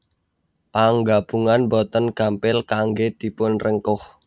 Panggabungan boten gampil kanggé dipunrengkuh